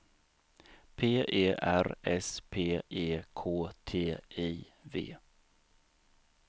P E R S P E K T I V